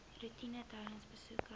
roetine tydens besoeke